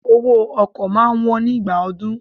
Owó ọkọ̀ máa wón nígbà ọdún.